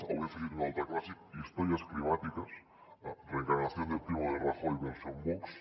avui ha afegit un altre clàssic històries climàtiques reencarnación del primo de rajoy versión vox